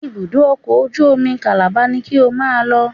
Ibùdó ọkọ̀ ojú omi Calabar ni ki o máa lọ